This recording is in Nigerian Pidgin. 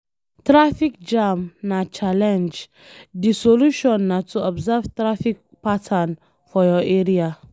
Traffic jam na challenge, di solution na to observe traffic pattern for your area